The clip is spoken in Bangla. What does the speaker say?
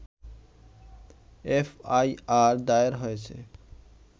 এফআইআর দায়ের হয়েছে